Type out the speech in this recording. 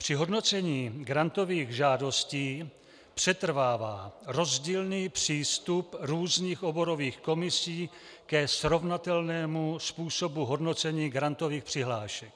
Při hodnocení grantových žádostí přetrvává rozdílný přístup různých oborových komisí ke srovnatelnému způsobu hodnocení grantových přihlášek.